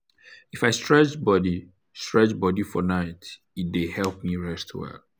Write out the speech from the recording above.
if i stretch body stretch body for night e dey help me rest well.